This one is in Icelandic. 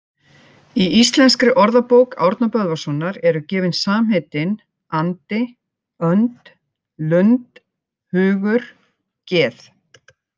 Í Íslenskri orðabók Árna Böðvarssonar eru gefin samheitin andi, önd, lund, hugur, geð